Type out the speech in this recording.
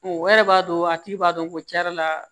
o yɛrɛ b'a dɔn a tigi b'a dɔn ko cɛn yɛrɛ la